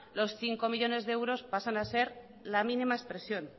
los cinco millónes de euros pasan a ser la mínima expresión